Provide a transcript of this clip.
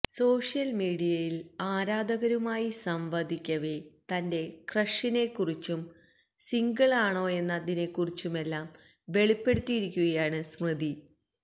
social മീഡിയയില് ആരാധകരുമായി സംവദിക്കവെ തന്റെ ക്രഷിനെക്കുറിച്ചും സിംഗിളാണോയെന്നതിനെക്കുറിച്ചുമെല്ലാം വെളിപ്പെടുത്തിയിരിക്കുകയാണ് സ്മൃതി